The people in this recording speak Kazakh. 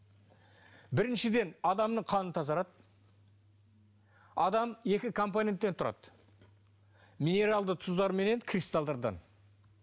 біріншіден адамның қаны тазарады адам екі компоненттен тұрады минералды тұздар менен кристалдардан